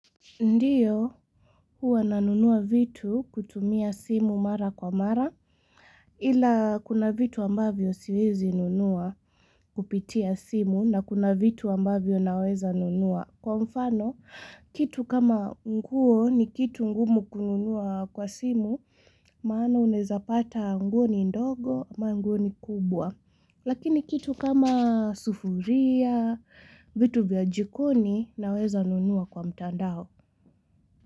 Ndiyo, huwa nanunua vitu kutumia simu mara kwa mara. Ila kuna vitu ambavyo siwezi nunua kupitia simu na kuna vitu ambavyo naweza nunua. Kwa mfano, kitu kama nguo ni kitu ngumu kununua kwa simu, maana unaeza pata nguo ni ndogo, ama nguo ni kubwa. Lakini kitu kama sufuria, vitu vya jikoni naweza nunua kwa mtandao.